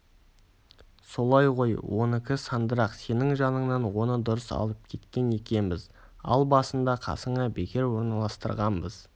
солай ғой оныкі сандырақ сенің жаныңнан оны дұрыс алып кеткен екенбіз ал басында қасыңа бекер орналастырғанбыз